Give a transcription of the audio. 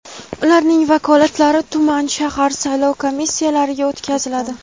ularning vakolatlari tuman (shahar) saylov komissiyalariga o‘tkaziladi.